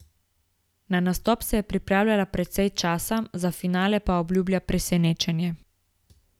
Na nastop se je pripravljala precej časa, za finale pa obljublja presenečenje.